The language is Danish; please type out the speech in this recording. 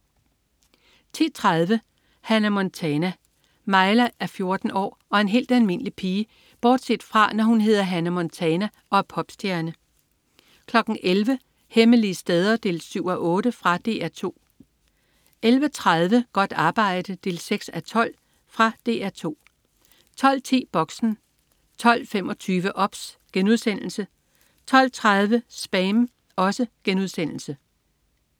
10.30 Hannah Montana. Miley er 14 år og en helt almindelig pige bortset fra, når hun hedder Hannah Montana og er popstjerne 11.00 Hemmelige steder 7:8. Fra DR 2 11.30 Godt arbejde 6:12. Fra DR 2 12.10 Boxen 12.25 OBS* 12.30 SPAM*